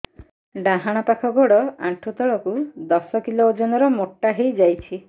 ଡାହାଣ ପାଖ ଗୋଡ଼ ଆଣ୍ଠୁ ତଳକୁ ଦଶ କିଲ ଓଜନ ର ମୋଟା ହେଇଯାଇଛି